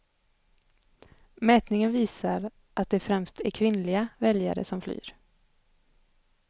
Mätningen visar att det främst är kvinnliga väljare som flyr.